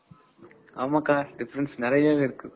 ஆமாங்க அக்கா difference நிறையவே இருக்கு.